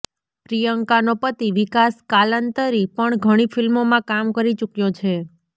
પ્રિયંકાનો પતિ વિકાસ કાલંતરી પણ ઘણી ફિલ્મોમાં કામ કરી ચૂક્યો છે